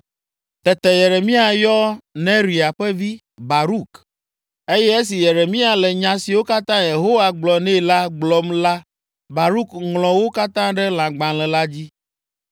Tete Yeremia yɔ Neria ƒe vi, Baruk eye esi Yeremia le nya siwo katã Yehowa gblɔ nɛ la gblɔm la Baruk ŋlɔ wo katã ɖe lãgbalẽ la dzi.